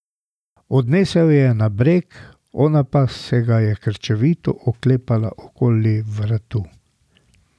Odnesel jo je na breg, ona pa se ga je krčevito oklepala okoli vratu.